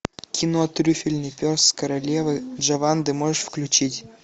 кино трюфельный пес королевы джованны можешь включить